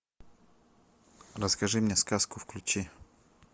расскажи мне сказку включи